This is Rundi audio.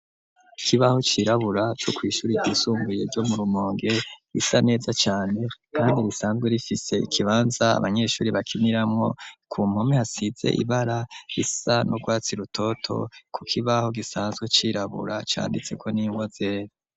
Ikibaho cirabura, co kw'ishuri ryisumbuye, ryo mu Rumonge, risa neza cane, kandi risanzwe rifise, ikibanza, abanyeshuri bakiniramwo; ku mpome hasize, ibara risa n'urwatsi rutoto; ku kibaho, gisanzwe cirabura, canditseko n'ingwa zera.